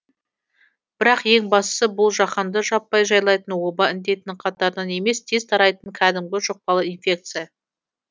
бірақ ең бастысы бұл жаһанды жаппай жайлайтын оба індетінің қатарынан емес тез тарайтын кәдімгі жұқпалы инфекция